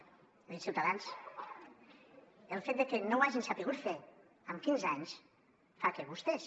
he dit ciutadans el fet de que no ho hagin sabut fer en quinze anys fa que vostès